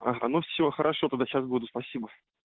ага ну все хорошо тогда сейчас буду спасибо